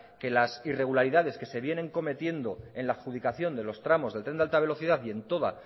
que las irregularidad que se vienen cometiendo en la adjudicación de los tramos del tren de alta velocidad y en toda